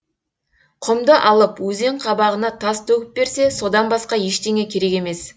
құмды алып өзен қабағына тас төгіп берсе содан басқа ештеңе керек емес